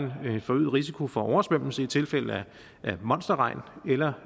en forøget risiko for oversvømmelse i tilfælde af monsterregn eller